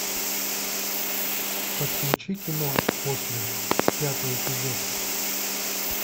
подключи кино после пятый эпизод